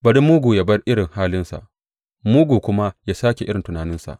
Bari mugu ya bar irin halinsa mugu kuma ya sāke irin tunaninsa.